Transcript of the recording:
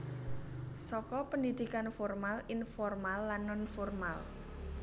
Saka pendidikan formal informal lan non formal